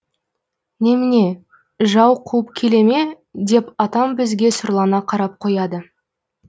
немене жау қуып келе ме деп атам бізге сұрлана қарап қояды